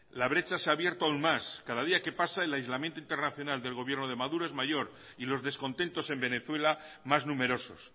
la brecha se ha abierto aún más cada día que pasa el aislamiento internacional del gobierno de maduro es mayor y los descontentos en venezuela más numerosos